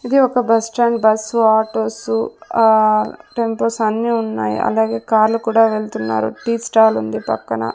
ఇది ఒక bus stand bus autos ఆ టైం పాస్ అన్నీ ఉన్నాయి అలాగే కార్లు కూడా వెళ్తున్నారు టీ స్టాల్ ఉంది పక్కన.